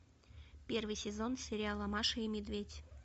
первый сезон сериала маша и медведь